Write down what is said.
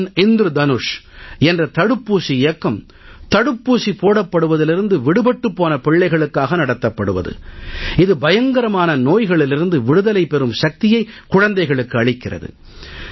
mission Indradhanush என்ற தடுப்பூசி இயக்கம் தடுப்பூசி போடப்படுவதிலிருந்து விடுபட்டுப் போன பிள்ளைகளுக்காக நடத்தப்படுவது இது பயங்கரமான நோய்களிலிருந்து விடுதலை பெறும் சக்தியை குழந்தைகளுக்கு அளிக்கிறது